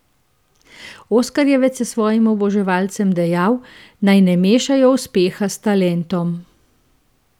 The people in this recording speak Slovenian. Oskarjevec je svojim oboževalcem dejal, naj ne mešajo uspeha s talentom.